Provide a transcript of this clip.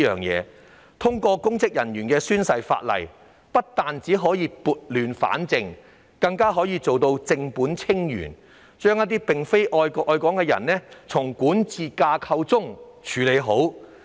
若通過關於公職人員宣誓的《條例草案》，不但可以撥亂反正，更可以正本清源，將一些並非愛國愛港的人從管治架構中"處理好"。